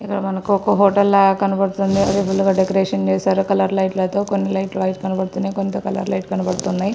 ఇక్కడ మనకు ఒక హోటల్ లా కనబడుతుంది అది ఫుల్ గా డెకరేషన్ చేసారు కలర్ లైట్ లతో కొన్ని లైట్ లు వైట్ కనబడుతున్నాయి కొంత కలర్ లైట్ కనబడుతున్నాయి.